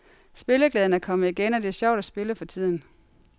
Spilleglæden er kommet igen, og det er sjovt at spille for tiden.